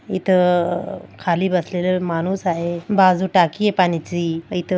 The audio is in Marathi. इथ अ-- खाली बसलेले माणूस आहे बाजू टाकी आहे पाण्याची इथं--